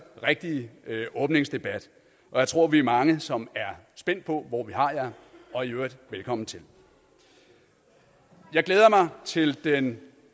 rigtige åbningsdebat og jeg tror vi er mange som er spændt på hvor vi har jer og i øvrigt velkommen til jeg glæder mig til den